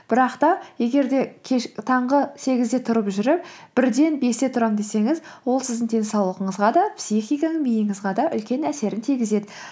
бірақ та егер де таңғы сегізде тұрып жүріп бірден бесте тұрам десеңіз ол сіздің денсаулығыңызға да психика миыңызға да үлкен әсерін тигізеді